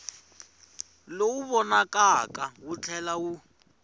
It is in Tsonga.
lowu vonakaka wu tlhela wu